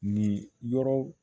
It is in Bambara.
Nin yɔrɔ